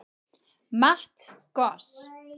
Matt Goss